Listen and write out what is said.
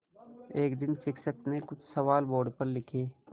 एक दिन शिक्षक ने कुछ सवाल बोर्ड पर लिखे